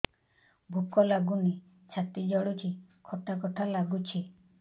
ଭୁକ ଲାଗୁନି ଛାତି ଜଳୁଛି ଖଟା ଖଟା ଲାଗୁଛି